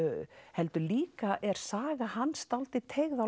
heldur líka er saga hans dálítið teygð á